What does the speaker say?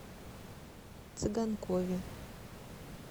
цыганкове